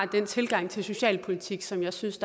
den tilgang til socialpolitik som jeg synes